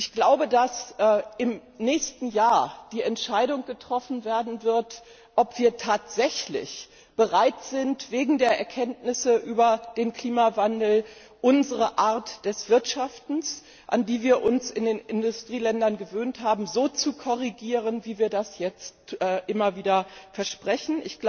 Ich glaube, dass im nächsten Jahr die Entscheidung getroffen werden wird, ob wir tatsächlich bereit sind, wegen der Erkenntnisse über den Klimawandel unsere Art des Wirtschaftens, an die wir uns in den Industrieländern gewöhnt haben, so zu korrigieren, wie wir das jetzt immer wieder versprechen.